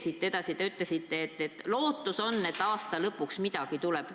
Siit edasi, te ütlesite, et lootus on, et aasta lõpuks midagi tuleb.